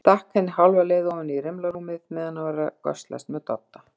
Stakk henni hálfa leið ofan í rimlarúmið meðan hann var að göslast með Dodda.